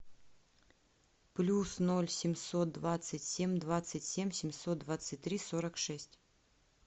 плюс ноль семьсот двадцать семь двадцать семь семьсот двадцать три сорок шесть